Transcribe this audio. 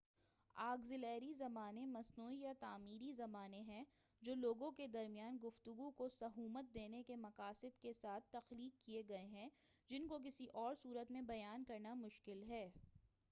auxiliary زبانیں مصنوعی یا تعمیری زبانیں ہیں جو لوگوں کے درمیان گفتگو کو سہومت دینے کے مقصد کے ساتھ تخلیق کیے گئے ہیں جن کو کسی اور صورت میں بیان کرنا مشکل ہیں